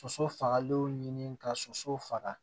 Soso fagalenw ɲini ka soso faga